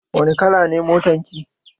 Wani kala ne motan ki?